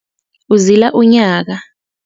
Uzila unyaka.